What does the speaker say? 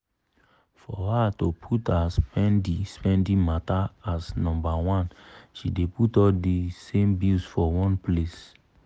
for her to put her spendi-spendi matter as nombaone she dey put all di same bills for one place.